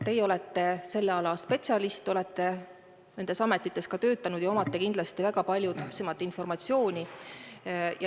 Teie olete selle ala spetsialist, olete nendes ametites töötanud ja teil on kindlasti palju täpsem informatsioon.